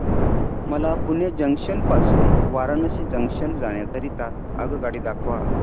मला पुणे जंक्शन पासून वाराणसी जंक्शन जाण्या करीता आगगाडी दाखवा